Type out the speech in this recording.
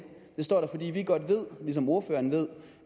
det står der fordi vi godt ved ligesom ordføreren ved